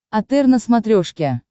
отр на смотрешке